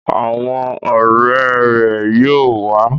Awọn ọrẹ rẹ yóò wa